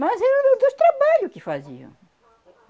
Mas era dos dois trabalho que faziam.